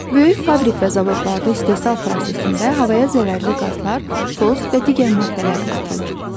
Böyük fabrik və zavodlarda istehsal prosesində havaya zərərli qazlar, toz və digər maddələr atılır.